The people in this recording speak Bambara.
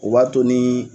O b'a to ni